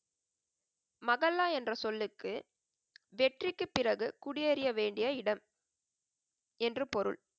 மகல்லா என்ற சொல்லுக்கு வெற்றிக்கு பிறகு குடியேறிய வேண்டிய இடம், என்று பொருள்.